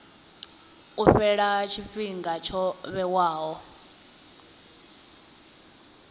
u fhela tshifhinga tsho vhewaho